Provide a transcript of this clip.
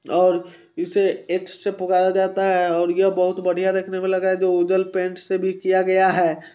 --और इसे एक्स से पुकार जाता हैं और यह बहुत बढ़िया देखने मे लगा हैं जो उधर पेंट से भी किया गया हैं।